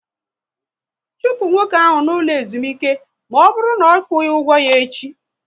Chụpụ nwoke ahụ n'ụlọ ezumike na ọ bụrụ na ọ kwughi ụgwọ ya echi!